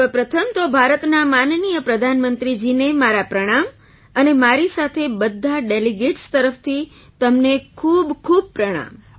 સર્વ પ્રથમ તો ભારતના માનનીય પ્રધાનમંત્રીજીને મારા પ્રણામ અને મારી સાથે બધા ડેલિગેટ્સ તરફથી તમને ખૂબખૂબ પ્રણામ